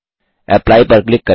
apply पर click करें